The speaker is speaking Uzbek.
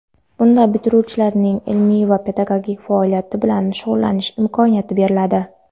Bunda bitiruvchilarga ilmiy va pedagogik faoliyat bilan shug‘ullanish imkoniyati beriladi.